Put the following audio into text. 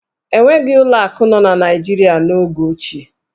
E nweghi ụlọ akụ nọ n'Naịjirịa n'oge ochie.